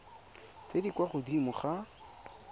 tse di kwa godimo ga